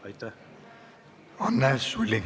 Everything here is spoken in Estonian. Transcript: Anne Sulling, palun!